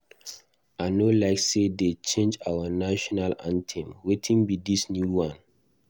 I no like say dey change our national anthem. Wetin be dis new one?